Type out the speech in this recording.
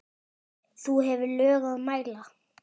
þú hefur lög að mæla